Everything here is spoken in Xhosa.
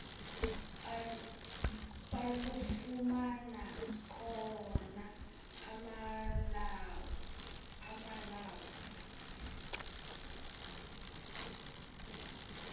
balufumana khona amalawu